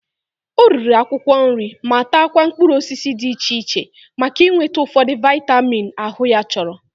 O riri akwụkwọ nri ma takwa mkpụrụ osisi dị iche iche maka inweta ụfọdụ vaịmin ahụ ya chọrọ.